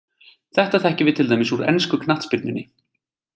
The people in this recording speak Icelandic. Þetta þekkjum við til dæmis úr ensku knattspyrnunni.